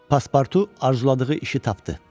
Paspurtu arzuladığı işi tapdı.